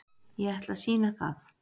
Ég ætla að sýna það.